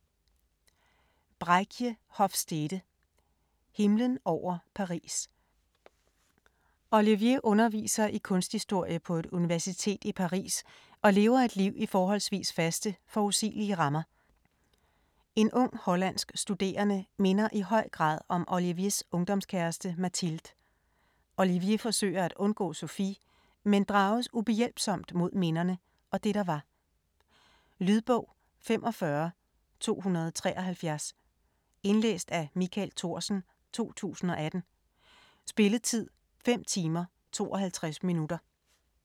Hofstede, Bregje: Himlen over Paris Olivier underviser i kunsthistorie på et universitet i Paris og lever et liv i forholdsvis faste, forudsigelige rammer. En ung hollandsk studerende minder i høj grad om Oliviers ungdomskæreste Mathilde. Olivier forsøger at undgå Sofie, men drages ubehjælpsomt mod minderne og det der var. Lydbog 45273 Indlæst af Michael Thorsen, 2018. Spilletid: 5 timer, 52 minutter.